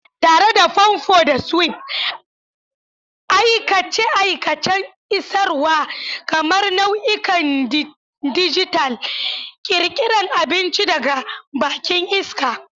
Tare da famfo da swipe, aikace-aikacen isarwa, kamar nau'ikan dijital, ƙirƙira abinci daga bakin iska.